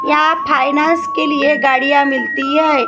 यहाँ फाइनैन्स के लिए गाड़ियां मिलती है।